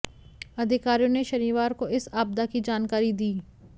अधिकारियों ने शनिवार को इस आपदा की जानकारी दी